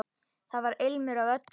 Þar var ilmur af öllu.